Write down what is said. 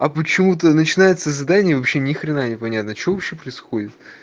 а почему ты начинается задание вообще ни хрена не понятно что вообще происходит